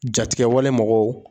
Jatigɛwale mɔgɔw